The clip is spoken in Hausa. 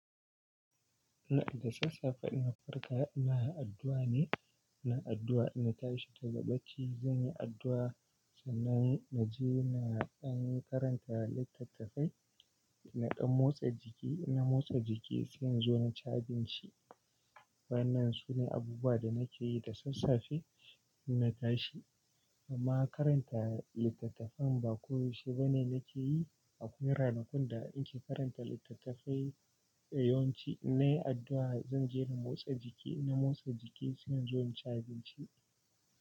Ina da sassafe inna farka, ina addua ne, ina addua in na tashi daga bacci, zan yi addua sannan na je na ɗan karanta littattafai, na ɗan motsa jiki, in na motsa jiki, saina zo na ci abinci. Wayannan sune abubuwa da nake yi da sassafe inna tashi. Amma karanta littattafan ba koyaushe ba ne nake yi. Akwai ranakun da in ke karanta littattafai a yawanci. Na yi addua, zan je na motsa jiki, inna motsa jiki sai in zo in ci abinci.